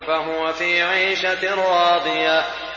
فَهُوَ فِي عِيشَةٍ رَّاضِيَةٍ